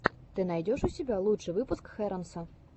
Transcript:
ты найдешь у себя лучший выпуск хэронса